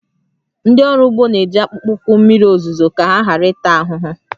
Ndị ọrụ ugbo na-eji akpụkpọ ụkwụ mmiri ozuzo ka ha ghara ịta ahụhụ